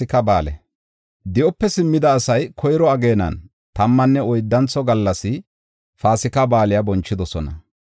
Di7ope simmida asay koyro ageenan tammanne oyddantho gallas Paasika Ba7aale bonchidosona.